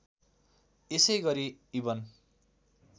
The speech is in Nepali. यसै गरि इबन